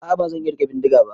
A'a ban iya rike bindiga ba.